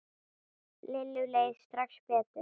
Lillu leið strax betur.